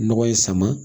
Nɔgɔ in sama